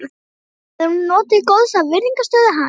Áður hafði hún þó notið góðs af virðingarstöðu hans.